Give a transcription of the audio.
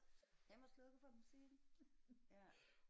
Hvem har slukket for musikken ja